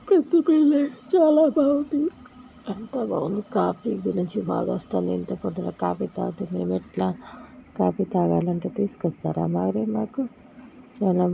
ఉంది. చాలా బాగుంది. అంత బాగుంది కాఫీ గురించి బాగా వస్తుంది .ఇంత పొద్దున కాఫీ తాగితే మేము ఎట్లా కాఫీ తాగాలంటే తీసుకొస్తారా మరి మకు. ఏమన